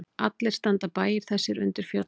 Allir standa bæir þessir undir fjöllum.